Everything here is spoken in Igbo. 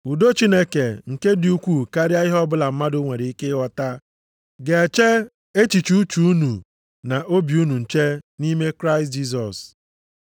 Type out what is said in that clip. Udo Chineke, nke dị ukwuu karịa ihe ọbụla mmadụ nwere ike ịghọta, ga-eche echiche uche unu na obi unu nche nʼime Kraịst Jisọs.